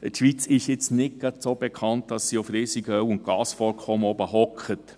Die Schweiz ist nicht gerade dafür bekannt, dass sie auf riesigen Öl- und Gasvorkommen sitzt.